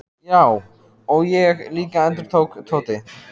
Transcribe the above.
Já, og ég líka endurtók Tóti.